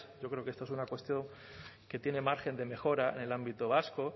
yo creo que esta es una cuestión que tiene margen de mejora en el ámbito vasco